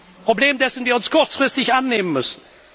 Ein Problem, dessen wir uns kurzfristig annehmen müssen.